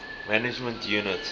management unit mmu